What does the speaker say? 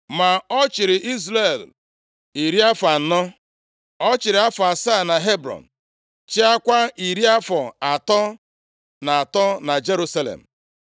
Ma ọ chịrị Izrel iri afọ anọ; ọ chịrị afọ asaa na Hebrọn, chịakwa iri afọ atọ na atọ na Jerusalem.